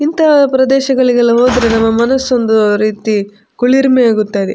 ಇಂತ ಪ್ರದೇಶಗಳಿಗೆಲ್ಲ ಹೋದರೆ ನಮ್ಮ ಮನಸ್ಸೊಂದು ರೀತಿ ಕುಳಿರ್‌ಮೆ ಆಗುತ್ತದೆ.